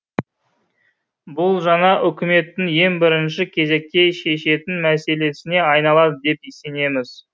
бұл жаңа үкіметтің ең бірінші кезекте шешетін мәселесіне айналады деп сенеміз